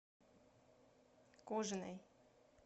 кожиной